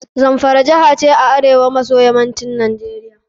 Zamfara jiha ce a arewa maso yammacin Najeriia.